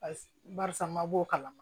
Paseke barisa n ma bɔ o kalama